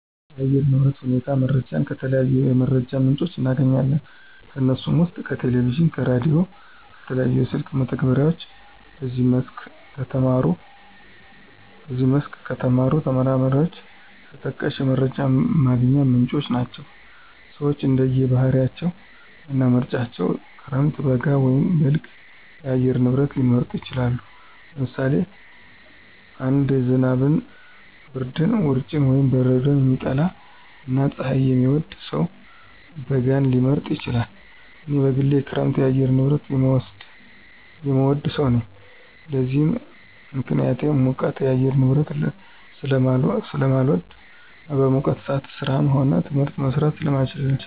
የአየር ንብረት ሁኔታ መረጃን ከተለያዩ የመረጃ ምንጮች እናገኛለን። ከነሱም ውስጥ ከቴሌቪዥን፣ ከራዲዮ፣ ከተለያዩ የስልክ መተግበሪያዎች በዚህ መስክ ከተሰማሩ ተመራማሪዎች ተጠቃሽ የመረጃ ማግኛ ምንጮች ናቸው። ሰወች እንደየ ባህሪያቸው እና ምርጫቸው ክረምት፣ በጋ ወይም በልግ የአየር ንብረት ሊመርጡ ይችላሉ። ለምሳሌ አንድ ዝናብን፣ ብርድን፣ ውርጭን ወይም በረዶን የሚጠላ እና ፀሀይን የሚወድ ሰው በጋን ሊመርጥ ይችላል። እኔ በግሌ የክረምት የአየር ንብረትን የምወድ ሰው ነኝ። ለዚህም ምክንያቴ ሙቀት የአየር ንብረትን ስለማልወድ እና በሙቀት ሰአት ስራም ሆነ ትምህርት መስራት ስለማልችል ነው።